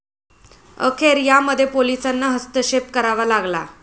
अखेर यामध्ये पोलिसांना हस्तक्षेप करावा लागला.